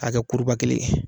A ka kɛ kuruba kelen ye.